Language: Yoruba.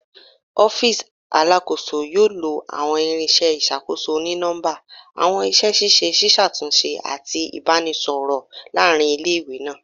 Ọfiisi Alakoso yoo lo awọn irinṣẹ iṣakoso oni-nọmba, awọn iṣẹ ṣiṣe ṣiṣatunṣe ati ibaraẹnisọrọ laarin ile-iwe naa